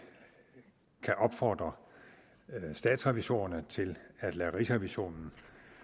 kan opfordre statsrevisorerne til at lade rigsrevisionen